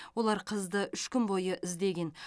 олар қызды үш күн бойы іздеген